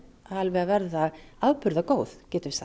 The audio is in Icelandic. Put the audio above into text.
að verða afburða góð